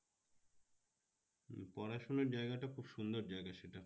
পড়াশোনার জায়গাটা খুব সুন্দর জায়গা সেটা।